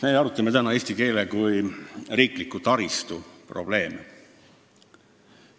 Meie arutame täna eesti keele kui riikliku taristu probleeme.